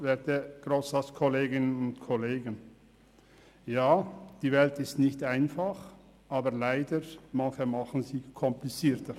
Ja, die Welt ist nicht einfach, aber leider machen sie manche komplizierter.